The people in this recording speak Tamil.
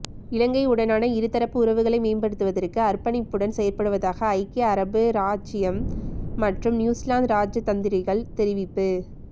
இலங்கையுடனான இருதரப்பு உறவுகளை மேம்படுத்துவதற்கு அர்ப்பணிப்புடன் செயற்படுவதாக ஐக்கிய அரபு இராச்சியம் மற்றும் நியூசிலாந்து இராஜதந்திரிகள் தெரிவிப்பு